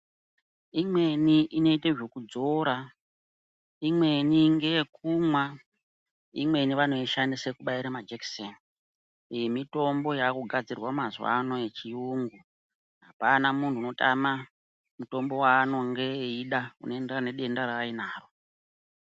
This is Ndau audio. Imweni inoite zvekudzora imweni ngeyekumwa, imweni vano ishandise kubaira majekiseni. Iyi mitombo yaaku gadzirwa mazuwano yechiyungu, hapana munhu unotama mutombo waanenge eida uno enderana nedenda raainaro.